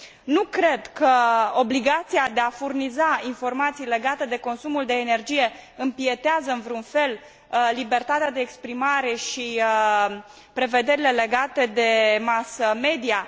Nu cred că obligația de a furniza informații legate de consumul de energie impietează în vreun fel asupra libertății de exprimare și prevederilor legate de mass media.